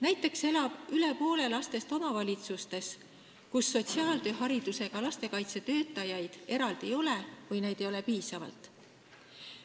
Näiteks elab üle poole lastest omavalitsustes, kus eraldi sotsiaaltööharidusega lastekaitsetöötajaid ei ole või ei ole neid piisavalt.